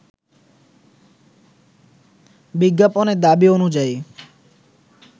বিজ্ঞাপনের দাবি অনুযায়ী